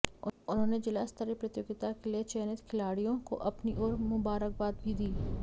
उन्होंने जिला स्तरीय प्रतियोगिता के लिए चयनित खिलाडि़यों को अपनी ओर मुबारकबाद भी दी